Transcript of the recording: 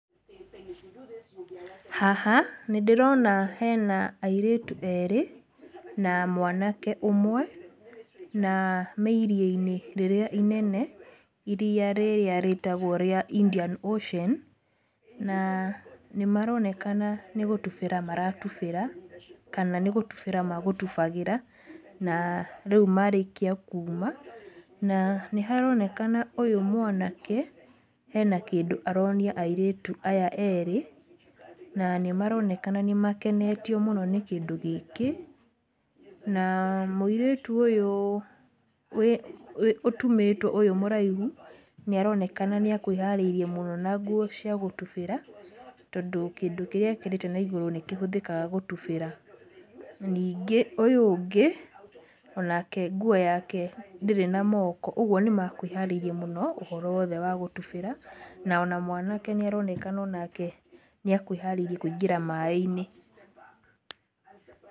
Haha nĩndĩrona hena airĩtu erĩ, na mwanake ũmwe, na me iria-inĩ rĩrĩa inene, iria rĩrĩa rĩtagwo rĩa Indian Ocean, na nĩmaronekana nĩ gũtubĩra maratubĩra kana nĩgũtubĩra magũtubagĩra na rĩu marĩkia kuma, na nĩharonekana ũyũ mwanake ena kĩndũ aronia airĩtu aya erĩ na nĩmaronekana nĩmakenetio mũno nĩ kĩndũ gĩkĩ, na mũirĩtu ũyũ wĩ wĩ ũtumĩtwo ũyũ mũraihu nĩaroneka nĩekwĩharĩirie mũno na nguo cia gũtubĩra tondũ kĩndũ kĩrĩa ekĩrĩte naigũrũ nĩkĩhũthĩkaga gũtubĩra, ningĩ ũyũ ũngĩ onake nguo ndirĩ na moko ũguo nĩmakwĩharĩirie mũno ũhoro wa gũtubĩra, na ona mwanke nĩaronekana onake nĩekwĩharĩirie kwĩingĩra maĩ-inĩ.